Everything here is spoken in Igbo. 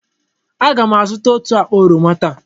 Aga m azụta otú akpa oroma taa.